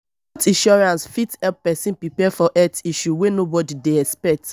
health insurance fit help person prepare for health issue wey nobody dey expect